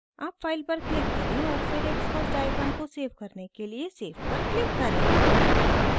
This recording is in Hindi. अब file पर क्लिक करें और फिर xcos डायग्राम को सेव करने के लिए save पर क्लिक करें